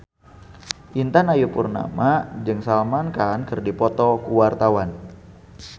Intan Ayu Purnama jeung Salman Khan keur dipoto ku wartawan